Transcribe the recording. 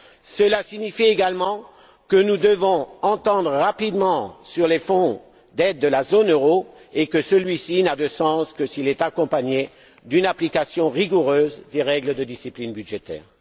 Cela signifie également que nous devons nous entendre rapidement sur le fonds d'aide de la zone euro et que celui ci n'a de sens que s'il est accompagné d'une application rigoureuse des règles de discipline budgétaire.